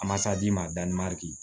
A masa d'i ma a da ma